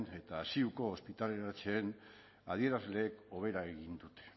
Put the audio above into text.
eta ziuko ospitaleratzeen adierazleek hobera egin dute